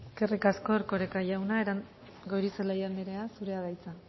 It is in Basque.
eskerrik asko erkoreka jauna goirizelaia andrea zurea da hitza